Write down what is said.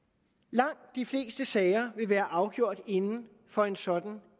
langt de fleste sager vil være afgjort inden for en sådan